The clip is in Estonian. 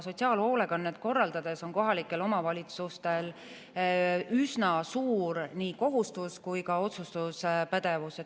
Sotsiaalhoolekannet korraldades on kohalikel omavalitsustel üsna suur nii kohustus kui ka otsustuspädevus.